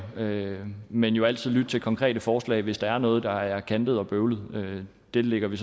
men jo altid lytte til konkrete forslag hvis der er noget der er kantet og bøvlet det lægger vi